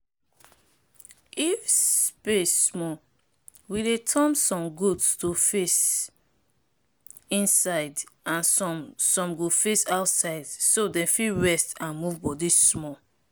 if space small we dey turn some goat to face inside and some some go face outside so dem fit rest and move body small.